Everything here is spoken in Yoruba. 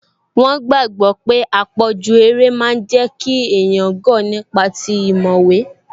Wọ́n gbàgbọ̀ pé àpọ̀jù eré máa n jẹ́ kí èèyàn gọ̀ nípa ti ìmọ̀ ìwé